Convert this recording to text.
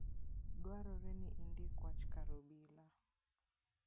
Dwarore ni indik wach kar obila.